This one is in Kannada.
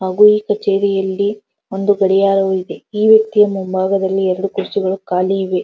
ಹಾಗು ಈ ಕಚೇರಿಯಲ್ಲಿ ಒಂದು ಗಡಿಯಾರ ಇದೆ ಈ ವೆಕ್ತಿಯ ಮುಂಭಾಗದಲ್ಲಿ ಎರಡು ಕುರ್ಚಿಯು ಕಾಲಿ ಇದೆ.